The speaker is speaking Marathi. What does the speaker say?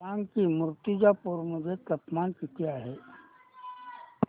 सांगा की मुर्तिजापूर मध्ये तापमान किती आहे